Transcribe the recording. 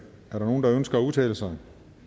er der nogen der ønsker at udtale sig